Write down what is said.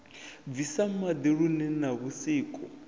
bvisa maḓi lune na vhusiku